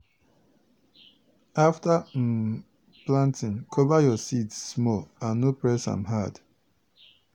afta um planting cover your seeds small and no press am hard.